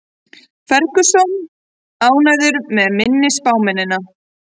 Ferguson ánægður með minni spámennina